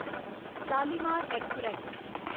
Shalimar express